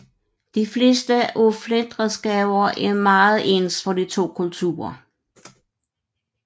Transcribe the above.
De fleste af flintredskaber er meget ens for de to kulturer